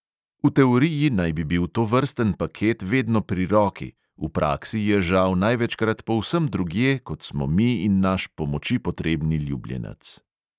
V teoriji naj bi bil tovrsten paket vedno pri roki, v praksi je žal največkrat povsem drugje, kot smo mi in naš pomoči potrebni ljubljenec.